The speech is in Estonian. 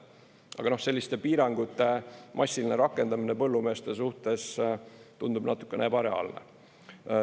Aga selliste piirangute massiline rakendamine põllumeeste suhtes tundub natuke ebareaalne.